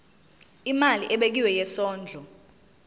imali ebekiwe yesondlo